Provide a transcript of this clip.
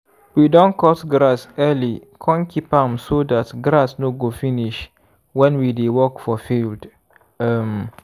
we don cut grass early kon keep am so dat grass no go finish when we dey work for field. um